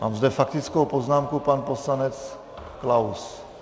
Mám zde faktickou poznámku - pan poslanec Klaus.